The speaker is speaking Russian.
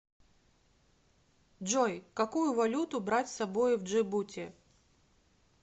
джой какую валюту брать с собой в джибути